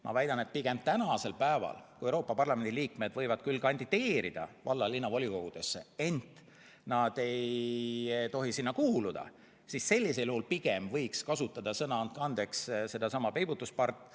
Ma väidan, et kui Euroopa Parlamendi liikmed võivad küll kandideerida valla- ja linnavolikogudesse, ent nad ei tohi sinna kuuluda, siis pigem võiks sellisel juhul kasutada sõna "peibutuspart".